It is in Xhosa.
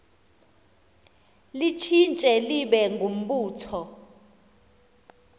litshintshe libe ngumbutho